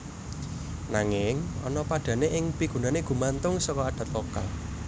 Nanging ana padhané ing pigunané gumantung saka adat lokal